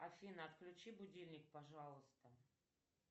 афина отключи будильник пожалуйста